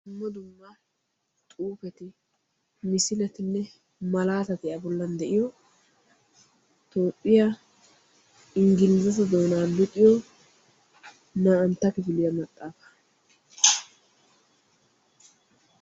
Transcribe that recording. Dumma dumma xuufeti misiletinne malaatati a bollan de'iyo toophphiya inggilize doonaa luxiyo na"aantta kifiliya maxaafaa.